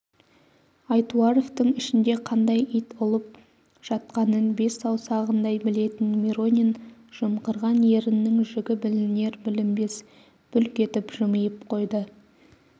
айтуаровтың ішінде қандай ит ұлып жатқанын бес саусағындай білетін миронин жымқырған еріннің жігі білінер-білінбес бүлк етіп жымиып қойды